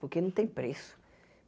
Porque não tem preço.